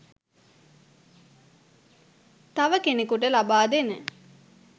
තව කෙනෙකුට ලබා දෙන